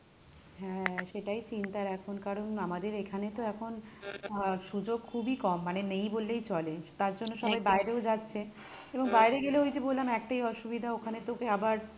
হ্যাঁ সেটাই চিন্তার এখন কারণ আমাদের এখানে তো এখন আহ সুযোগ খুবই কম মানে নেই বললেই চলে, তার জন্য সবাই বাইরেও যাচ্ছে কিন্তু বাইরে গেলে ওই যে বললাম একটাই অসুবিধা ওখানে তোকে আবার,